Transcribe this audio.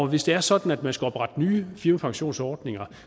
hvis det er sådan at man skal oprette nye firmapensionsordninger